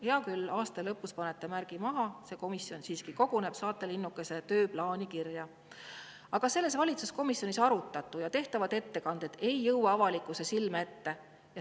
Hea küll, aasta lõpus panete märgi maha ja see komisjon siiski koguneb, saate linnukese tööplaani kirja, aga valitsuskomisjonis arutatu ja tehtavad ettekanded ei jõua avalikkuse silme ette.